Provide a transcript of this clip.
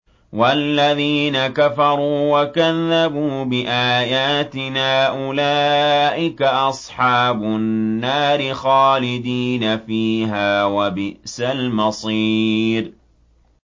وَالَّذِينَ كَفَرُوا وَكَذَّبُوا بِآيَاتِنَا أُولَٰئِكَ أَصْحَابُ النَّارِ خَالِدِينَ فِيهَا ۖ وَبِئْسَ الْمَصِيرُ